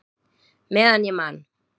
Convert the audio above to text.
Meðan ég man!